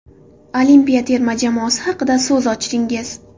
Olimpiya terma jamoasi haqida so‘z ochdingiz.